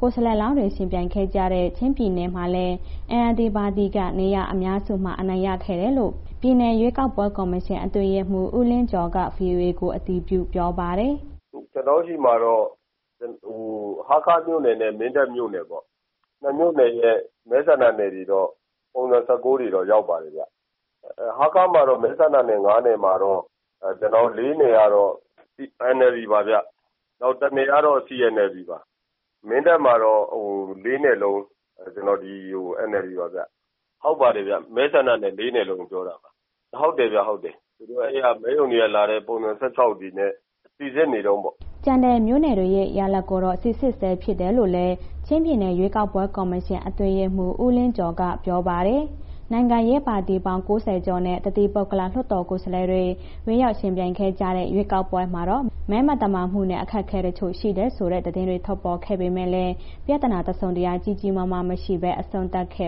ကိုယ်စားလှယ်လောင်းတွေ ယှဉ်ပြိုင်ခဲ့ကြတဲ့ ချင်းပြည်နယ်မှာလည်း NLD ပါတီက နေရာအများစုမှာ အနိုင်ရခဲ့တယ်လို့ ပြည်နယ်ရွေးကောက်ပွဲ ကော်မရှင်အတွင်းရေးမှူး ဦးလင်းကျော်က VOA ကို အတည်ပြုပြောပါတယ်။ “ကျနော်တို့ဆီမှာတော့ ဟားခါးမြို့နယ်နဲ့ မင်းတပ်မြို့နယ်ပေါ့... နှစ်မြို့နယ်ရဲ့ မဲဆန္ဒနယ်တွေတော့ ပုံစံ (၁၉) တွေတော့ ရောက်ပါပြီဗျ။ ဟားခါးမှာတော့ မဲဆန္ဒနယ် ၅ နယ်မှာတော့ ကျနော်တို့ ၄ နေရာတော့ NLD ပါဗျ။ နောက်တစ်နယ်ကတော့ CNLD ပါ။ မင်းတပ်မှာတော့ ၄ နယ်လုံး NLD ပါဗျ။ ဟုတ်ပါတယ်ဗျာ။ မဲဆန္ဒနယ် ၄ နေရာလုံးကို ပြောတာပါ။ မဲရုံက လာတဲ့ ပုံစံ (၁၆) တွေနဲ့ စိစစ်နေတုန်းပေါ့။” ကျန်တဲ့ မြို့နယ်တွေရလဒ်ကိုတော့ စိစစ်ဆဲဖြစ်တယ်လို့လည်း ချင်းပြည်နယ်ရွေးကောက်ပွဲ ကော်မရှင်အတွင်းရေးမှူး ဦးလင်းကျော်က ပြောပါတယ်။ နိုင်ငံရေးပါတီပေါင်း ၉၀ ကျော်နဲ့ တသီးပုဂ္ဂလလွှတ်တော်ကိုယ်စားလှယ်တွေ ဝင်ရောက်ယှဉ်ပြိုင်ခဲ့ကြတဲ့ ရွေးကောက်ပွဲမှာတော့ မဲမသမာမှုနဲ့ အခက်အခဲတချို့ ရှိတယ်ဆိုတဲ့ သတင်းတွေ ထွက်ပေါ်ခဲ့ပေမဲ့လည်း ပြဿနာတစုံတရာ ကြီးကြီးမားမား မရှိဘဲ အဆုံးသတ်ခဲ့